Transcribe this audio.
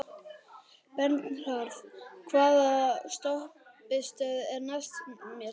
Bernharð, hvaða stoppistöð er næst mér?